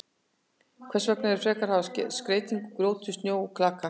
Hvers vegna ekki frekar að hafa skreytingar úr grjóti, snjó og klaka?